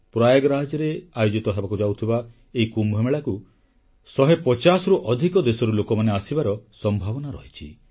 ପ୍ରୟାଗରାଜରେ ଆୟୋଜିତ ହେବାକୁ ଯାଉଥିବା ଏହି କୁମ୍ଭ ମେଳାକୁ ଶହେପଚାଶରୁ ଅଧିକ ଦେଶରୁ ଲୋକମାନେ ଆସିବାର ସମ୍ଭାବନା ରହିଛି